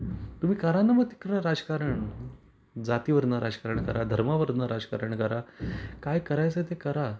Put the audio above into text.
तुम्ही कराना मग तीकड राजकारण जाती वरन राजकारण करा धर्मावरून राजकारण करा काय करायचे ते करा.